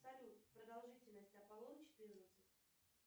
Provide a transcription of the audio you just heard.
салют продолжительность апполон четырнадцать